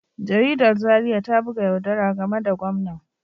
Jaridar Zariya ta buga yaudara game da gwamnan